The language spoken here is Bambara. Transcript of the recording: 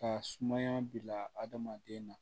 Ka sumaya bila hadamaden na